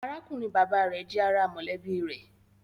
Arákùnrin-bàbá rẹ̀ jẹ́ ará mọ̀lẹ́bí rẹ̀